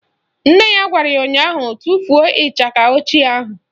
Nne ya gwara ya ụnyaahụ " Tufuo ịchaka ochie ahụ"!